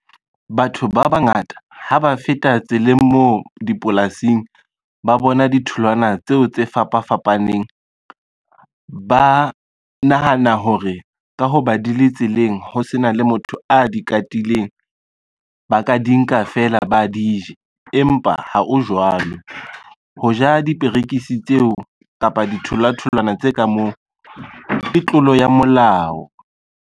Batho ba bangata ha ba feta tseleng moo dipolasing ba bona ditholwana tseo tse fapa fapaneng. Ba nahana hore ka hoba di le tseleng ho sena le motho motho a di katileng ba ka di nka fela ba di ja, empa ha o jwalo. Ho ja diperekisi tseo kapa dithola-tholwana tse ka moo ke tlolo ya molao.